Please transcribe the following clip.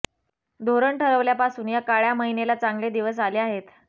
धोरण ठरवल्यापासून या काळ्या मैनेला चांगले दिवस आले आहेत